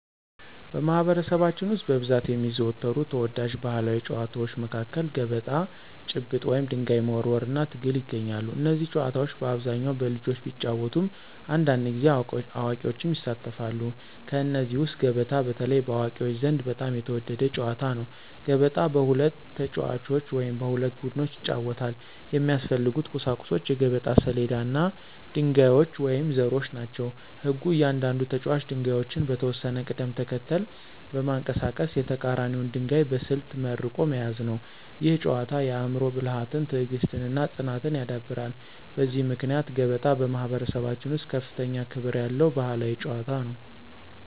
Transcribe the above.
በማኅበረሰባችን ውስጥ በብዛት የሚዘወተሩ ተወዳጅ ባሕላዊ ጨዋታዎች መካከል ገበጣ፣ ጭብጥ (ድንጋይ መወርወር) እና ትግል ይገኛሉ። እነዚህ ጨዋታዎች በአብዛኛው በልጆች ቢጫወቱም አንዳንድ ጊዜ አዋቂዎችም ይሳተፋሉ። ከእነዚህ ውስጥ ገበጣ በተለይ በአዋቂዎች ዘንድ በጣም የተወደደ ጨዋታ ነው። ገበጣ በሁለት ተጫዋቾች ወይም በሁለት ቡድኖች ይጫወታል። የሚያስፈልጉት ቁሳቁሶች የገበጣ ሰሌዳ እና ድንጋዮች ወይም ዘሮች ናቸው። ሕጉ እያንዳንዱ ተጫዋች ድንጋዮቹን በተወሰነ ቅደም ተከተል በማንቀሳቀስ የተቀራኒውን ድንጋይ በስልት መርቆ መያዝ ነው። ይህ ጨዋታ የአእምሮ ብልሃትን፣ ትዕግሥትን እና ፅናትን ያዳብራል። በዚህ ምክንያት ገበጣ በማኅበረሰባችን ውስጥ ከፍተኛ ክብር ያለው ባሕላዊ ጨዋታ ነው።